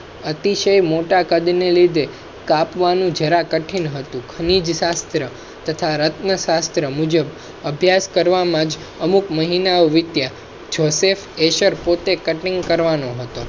અતિશય મોટા કદ ના લીધે કાપવાનું જરા કઠિન હતું ખનિજ શાસ્ત્ર તથા રત્ન શાસ્ત્ર મુજબ અભ્યાસ કરવામાં અમુક મહિના વિત્યા joseph heser પોતે કટિંગ કરવા નો હતો.